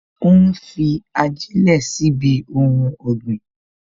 Ó ń fi ajilẹ sí ibi ohun ọ̀gbìn